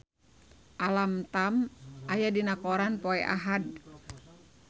Alam Tam aya dina koran poe Ahad